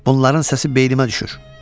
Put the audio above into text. Bunların səsi beynimə düşür.